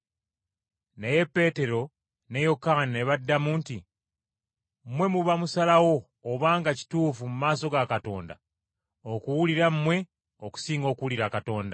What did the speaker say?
Naye Peetero ne Yokaana ne baddamu nti, “Mmwe muba musalawo obanga kituufu mu maaso ga Katonda okuwulira mmwe okusinga okuwulira Katonda.